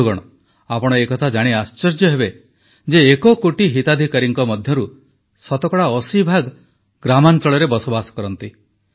ବନ୍ଧୁଗଣ ଆପଣ ଏକଥା ଜାଣି ଆଶ୍ଚର୍ଯ୍ୟ ହେବେ ଯେ ଏକକୋଟି ହିତାଧିକାରୀଙ୍କ ମଧ୍ୟରୁ ଶତକଡ଼ା ଅଶୀଭାଗ ଗ୍ରାମାଂଚଳରେ ବସବାସ କରନ୍ତି